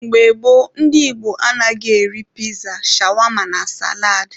Mgbe gboo, ndị Igbo anaghị eri piza, shawama na salad